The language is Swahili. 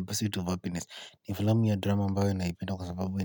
pursuit of happiness. Ni filamu ya drama ambayo naipenda kwa sababu